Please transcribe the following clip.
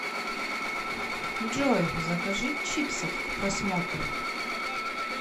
джой закажи чипсов к просмотру